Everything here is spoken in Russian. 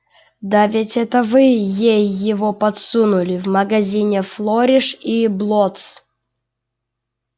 да ведь это вы ей его подсунули в магазине флориш и блоттс